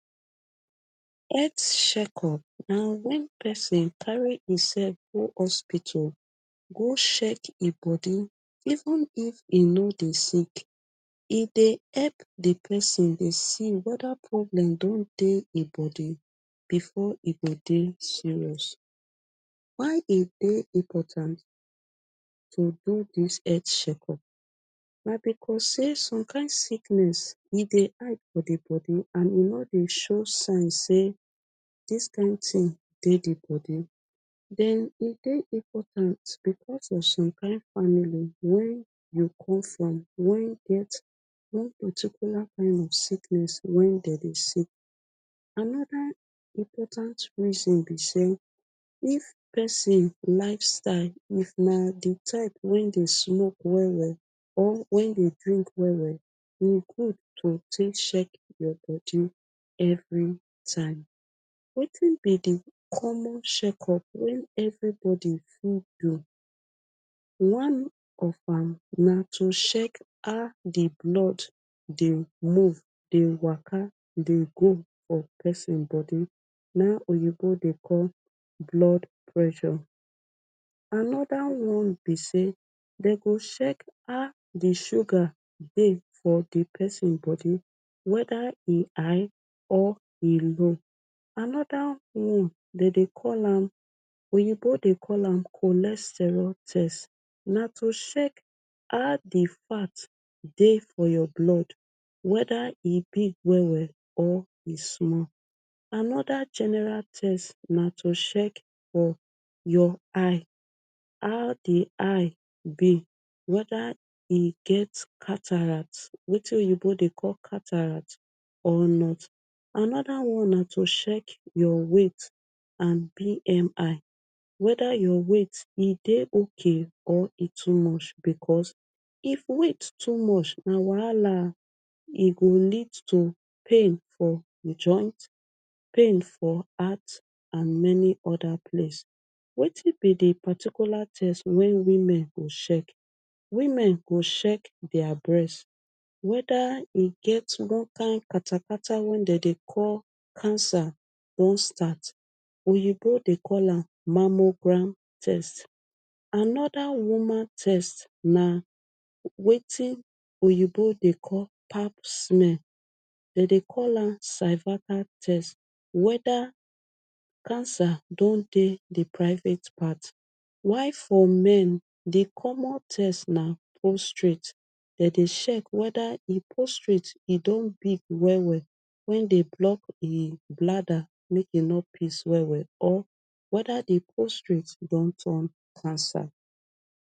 Health checkup na when person carry himself go hospital go check im body even if e no dey sick. E dey help di person dey see weda problem don dey e body before e go dey serious. Why e dey important to do dis healt checkup? Na because sey some kind sickness, e dey hide for di body and e nor dey show sign sey dis kind tin dey di body. Den e dey important because of some kind family wey you come from wen get one particular kind of sickness wey den dey see. Anoda important reason be sey, if person lifestyle, if na di type wey dey smoke well well or wey dey drink well well, e good to tek check your body every time. Wetin be di common checkup wey everybody fit do? One of am na to check how di blood dey move, dey waka, dey go for person body, na oyinbo dey call blood pressure. Anoda one be sey, den go check how di sugar dey for di person body, weda e high or e low. Anoda one, den dey call am, oyinbo dey call am cholesterol test. Na to check how di fat dey for your blood, weda e big well well or e small. Anoda general test na to check for your eye, how di eye be. Weda e get cataract, wetin oyinbo dey call cataract or not. Anoda one na to check your weight and BMI. Weda your weight e dey okay or e too much because, if weight too much na wahala, e go lead to pain for di joint, pain for heart and many oda place. Wetin be di particular test wey women go check? Women go check dia breast, weda e get one kind katakata wey den call cancer don start. Oyinbo dey call am mammogram test. Anoda woman test na wetin oyinbo dey call pap smell, den dey call am cervical test. Weda cancer don dey di private part. While for men di common test na postrate. Den dey check weda im postrate e don big well well wey dey block im bladder mek e nor piss well well or weda di postrate don turn cancer.